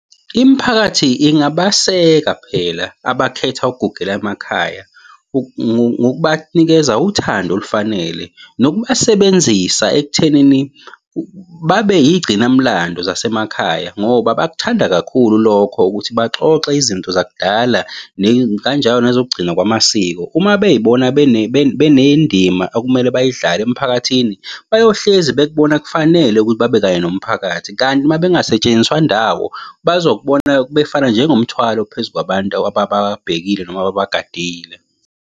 Imiphakathi ingabaseka phela abakhetha ukugugela emakhaya ngokubanikeza uthando olufanele. Nokubasebenzisa ekuthenini babe yigcinamlando zasemakhaya, ngoba bakuthanda kakhulu lokho ukuthi baxoxe izinto zakudala kanjalo nezokugcina kwamasiko. Uma bey'bona benendima okumele bayidlale emphakathini, bayohlezi bekubona kufanele ukuthi babe kanye nomphakathi, kanti uma bengasetshenziswa ndawo, bazokubona befana njengomthwalo phezu kwabantu abababhekile noma ababagadile.